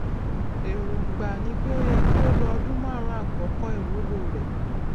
èròǹgbà ni pé ó yẹ kí ó lo ọdún márùnún àkókò iwulo re